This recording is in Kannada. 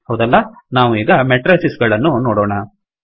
ಹೌದಲ್ಲ ನಾವು ಈಗ ಮೆಟ್ರೈಸಿಸ್ ಗಳನ್ನು ನೋಡೊಣ